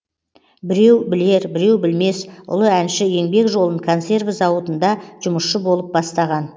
біреу білер біреу білмес ұлы әнші еңбек жолын консерві зауытында жұмысшы болып бастаған